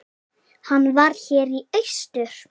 Hann var hér í austur.